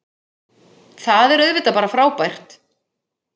Það er auðvitað bara frábært